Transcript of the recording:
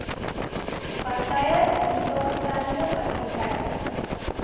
partye instaatstellende fasiliteite